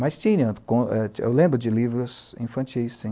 Mas tinha, eu lembro de livros infantis, sim.